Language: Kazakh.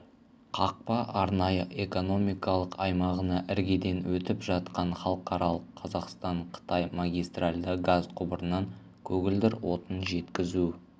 қақпа арнайы экономикалық аймағына іргеден өтіп жатқан халықаралық қазақстан-қытай магистральды газ құбырынан көгілдір отын жеткізу